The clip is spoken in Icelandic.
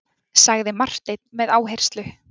sagði Marteinn með áherslu.